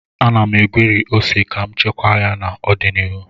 Ana m egweri ose ka m chekwaa ya maka ọdịnihu